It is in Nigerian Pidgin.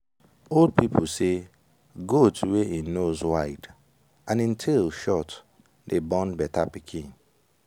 old people say goat wey en nose wide and en tail short dey born better pikin.